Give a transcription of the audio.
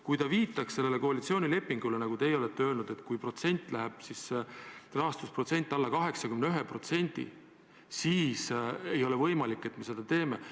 Kui ta viitaks koalitsioonilepingule, kus on öeldud, nagu te viitasite, kui Euroopa Liidu rahastusprotsent läheb alla 81%, siis ei ole võimalik, et me seda teeme.